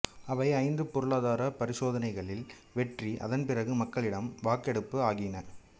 அவை ஐந்துப் பொருளாதாரப் பரிசோதனைகளில் வெற்றி அதன் பிறகு மக்களிடம் வாக்கெடுப்பு ஆகியன